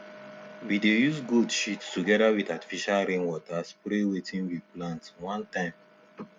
we dey use goat shit together with artificial rain water spray wetin we plant one time